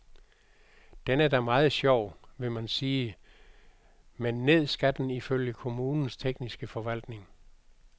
Den er da meget sjov, vil man sige, men ned skal den ifølge kommunens tekniske forvaltning.